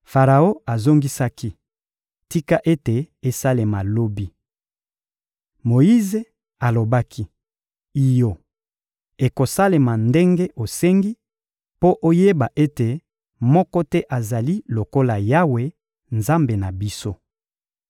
Faraon azongisaki: — Tika ete esalema lobi. Moyize alobaki: — Iyo, ekosalema ndenge osengi, mpo oyeba ete moko te azali lokola Yawe, Nzambe na biso.